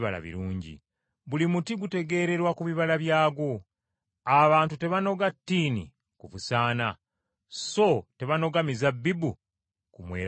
Buli muti gutegeererwa ku bibala byagwo. Abantu tebanoga ttiini ku busaana so tebanoga mizabbibu ku mweramannyo.